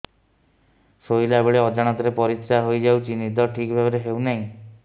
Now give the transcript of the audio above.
ଶୋଇଲା ବେଳେ ଅଜାଣତରେ ପରିସ୍ରା ହୋଇଯାଉଛି ନିଦ ଠିକ ଭାବରେ ହେଉ ନାହିଁ